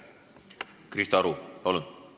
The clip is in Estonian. Krista Aru, palun!